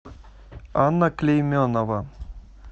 анна клейменова